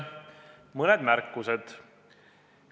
Mõned märkused.